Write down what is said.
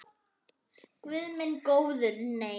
Guð minn góður nei.